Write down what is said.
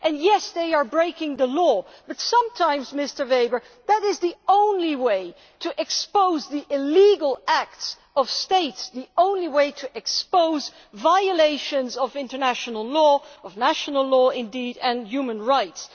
Yes, they are breaking the law, but sometimes, Mr Weber, that is the only way to expose the illegal acts of states the only way to expose violations of international law and, indeed, of national law and human rights.